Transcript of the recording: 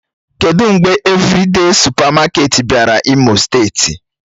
Kedụ mgbe Evịrịde sụpamaketi bịara imo steeti?